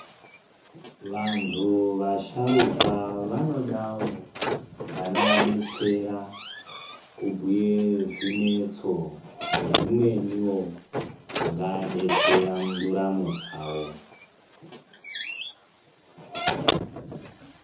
Vantu vasharukwa vanodawo vanowadetsera kubhuye zvinetso nezvimweniwo zvingaadetsera munduramo dzawo.